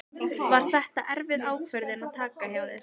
Var þetta erfið ákvörðun að taka hjá þér?